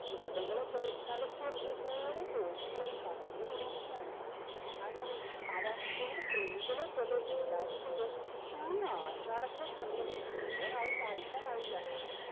കീടങ്ങളെ പോലെ തലച്ചോറിന്റെ ഓരോ കോശങ്ങളിലും കടന്നു കൂടിയിരിക്കുകയാണ് അങ്ങനെ അവ ചെറു കൃമികളെ പോലെ വിചാരിക്കുമ്പോ ഈ ആഷാടത്തിലെ ചന്ദ്രനെ മുഴുവനായും വായിക്കാനായില്ല